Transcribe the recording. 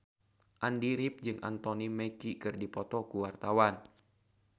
Andy rif jeung Anthony Mackie keur dipoto ku wartawan